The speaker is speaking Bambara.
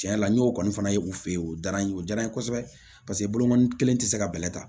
Cɛn yɛrɛ la n y'o kɔni fana ye u fɛ yen o diyara n ye o diyara n ye kosɛbɛ paseke bokɔnɔni kelen tɛ se ka bɛlɛ ta